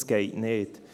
Das geht nicht.